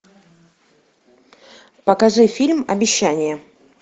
покажи фильм обещание